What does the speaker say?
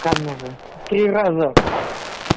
карневы три раза